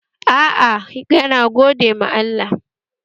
Aa, yana gode ma Allah